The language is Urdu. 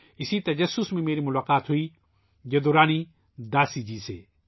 اسی تجسس میں میری ملاقات جدو رانی داسی جی سے ہوئی